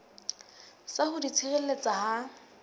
sa ho di tshireletsa ha